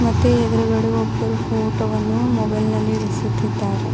ಮತ್ತೆ ಎದುರುಗಡೆ ಒಬ್ಬರು ಫೋಟೋ ವನ್ನು ಮೊಬೈಲ್ ನಲ್ಲಿ ಹಿಡಿಸುತ್ತಿದ್ದಾರೆ.